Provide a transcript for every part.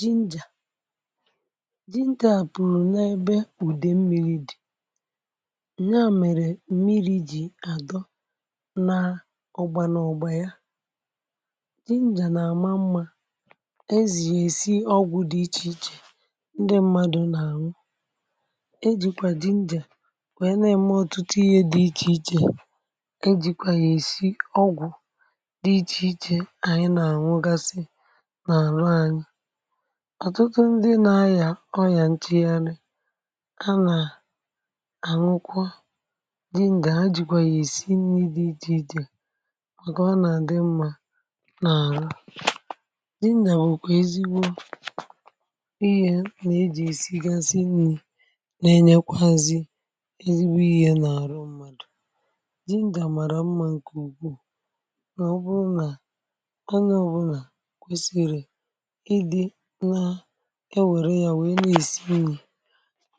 jinja jinja pụ̀rụ̀ n’ebe ùdè mmiri dị̀, ya mèrè mmiri jì àdọ nȧ ọgbȧ n’ọgbȧ ya. jinja nà àma mmȧ, ezì èsi ọgwụ̀ dị ichè ichè, um ndị mmadu̇ nà ànwụ ejìkwà jinja wèe na-eme ọtụtụ ihe dị ichè ichè, ejìkwà yà èsi ọgwụ̀ dị ichè ichè. anyị nà ànwụgasị ọ̀tụtụ ndị na-ayà ọyà nchegharị, a nà ànụkwa jin gà ha jìkwà yà ìsi nni̇, dịdịda màkà ọ nà-àdị mmȧ nà àlà. jin nà bùkwà ezigbo ihė nà ejì ìsigasị nni̇, nà-enyekwazị eribu ihė nà-àrụ mmadù. jin gà màrà mmȧ, ǹkè ùgbu, mà ọbụrụ nà onye, ọbụrụ nà kwesiri ǹke wère ya wèe nà-èsi mmi̇.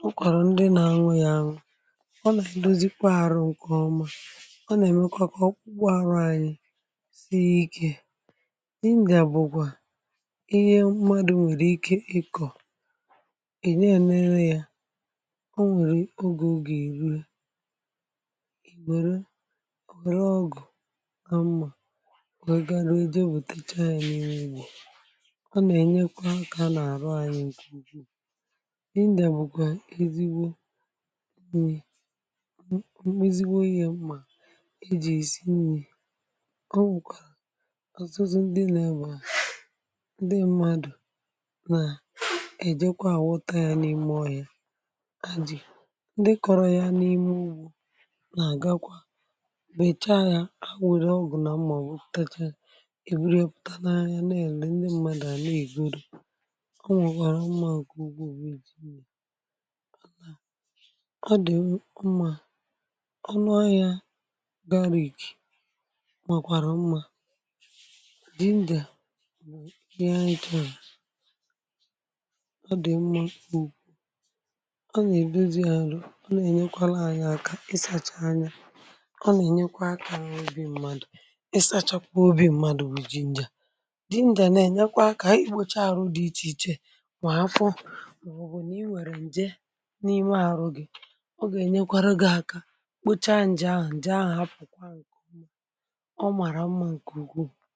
o kwàrà ndị nȧ-ȧnwė ya anwụ̇, o nà-èdozikwa arụ̇ ǹkè ọma, ọ nà-èmekwa kọ̀ọ kwuo arụ̇. anyị̇ sie ikė n’ihì, ǹdị̀ àbụ̀kwà ihe mmadụ̇ nwèrè ike ikọ̀, ị̀nye ya n’ere ya. ọ nwèrè ogè ogè, iru ì wère, ọ gwù, amma wee gaa ruo ịdị, o bùtacha ya n’ime iji̇ ǹdewȯ. mà ọ bụ̀, ọ bụ̀ ọ bụ̀ ọ bụ̀, ọ bụ̀ ọbụ̇, ọbụ̇ nàkwà, ọ bụ̀ n’ime, ọbụ̇ nàkwà, ọ bụ̀ n’ime, ọbụ̀ nàkwà, ọ bụ̀ nàkwà, ọ bụ̀ n’ime, ọbụ̀ nàkwà, ọ bụ̀ nàkwà, ọ bụ̀ nà ọ bụ̀ nàkwà, ọ bụ̀ n’ime, ọbụ̀ nàkwà, ọ bụ̀ nà ọ bụ̀ nàkwà, ọ bụ̀ nàkwà, ọ bụ̀ nàkwà, ọ bụ̀ nàkwà, ọ bụ̀ nàkwà, ọ bụ̀ nàkwà, ọ bụ̀ nàkwà, ọ bụ̀ nàkwà, ọ bụ̀ nàkwà, ọ bụ̀ nàkwà, ọ bụ̀ nàkwà, ọ bụ̀ nàkwà, ọ bụ̀ nàkwà, ọ bụ̀ nàkwà, ọ bụ̀ nàkwà, ọ bụ̀ nàkwà, ọ bụ̀ nàkwà, ọ bụ̀ nàkwà, ọ bụ̀ nàkwà. ọ nwèrè umùànòkè ugwu, bụ̀ èji nà ọ dì ọ mmȧ. ọ nu anyȧ garri, màkwàrà umùa di ṁdìa, bụ̀ ihe anyi̇tì ahụ̀. ọ dì mmụ̇ mkpù, ọ nèbuzi àrụ, ọ nènyekwala anyi̇ aka i sȧcha anya, ọ nènyekwa akȧ n’obi ṁmȧdụ̀. i sachapụ̀ obi̇ mmadụ̀ bụ̀ ji ṅjà, di ṅdìà nènyekwa akȧ, màọbụ̀ bụ̀ nà i nwèrè ǹde n’ime arụ̇ gị̇, ọ gà-ènyekwara gị̇ aka kpochaa ǹjè ahụ̀, ǹde ahụ̀ apụ̀kwa ǹkè ọmàrà ọmà, ǹkè ugwu.